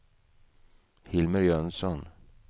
Hilmer Jönsson